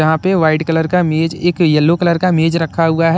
यहाँ पे white colour का मेज एक येलो कलर का मेज रखा हुआ है।